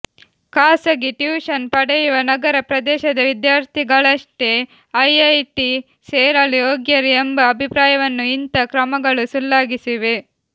ಖಾಸಗಿ ಟ್ಯೂಷನ್ ಪಡೆಯುವ ನಗರ ಪ್ರದೇಶದ ವಿದ್ಯಾರ್ಥಿಗಳಷ್ಟೇ ಐಐಟಿ ಸೇರಲು ಯೋಗ್ಯರು ಎಂಬ ಅಭಿಪ್ರಾಯವನ್ನು ಇಂಥಾ ಕ್ರಮಗಳು ಸುಳ್ಳಾಗಿಸಿವೆ